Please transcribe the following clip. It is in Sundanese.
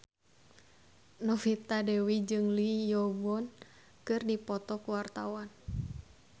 Novita Dewi jeung Lee Yo Won keur dipoto ku wartawan